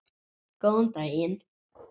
Góðan daginn